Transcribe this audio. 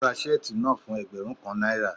Ó ra shirt náà fún ẹgbẹ́rún kan náírà.